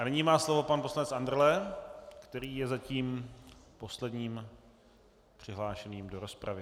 A nyní má slovo pan poslanec Andrle, který je zatím posledním přihlášeným do rozpravy.